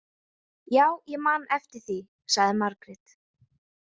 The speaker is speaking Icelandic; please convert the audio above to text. Já, ég man eftir því, sagði Margrét.